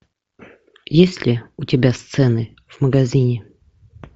есть ли у тебя сцены в магазине